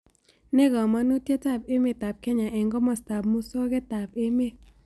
Nee kamanutietap emetap kenya eng' komostap musogetap emet